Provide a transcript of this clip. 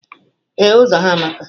Ee, Ụzọ ha amaka.